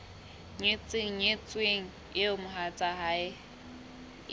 nyetseng nyetsweng eo mohatsae e